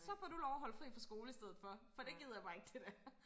Så får du lov og holde fri fra skole i stedet for for det gider jeg bare ikke det der